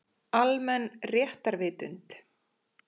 Almenn réttarvitund.